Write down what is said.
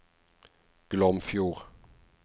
Glomfjord